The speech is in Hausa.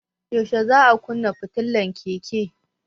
Yaushe za a kunne fitilar keken?